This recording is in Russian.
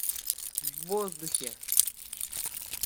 в воздухе